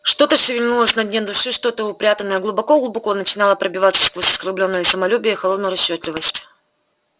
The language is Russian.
что-то шевельнулось на дне души что-то упрятанное глубоко-глубоко начинало пробиваться сквозь оскорблённое самолюбие и холодную расчётливость